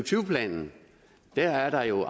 planen er der jo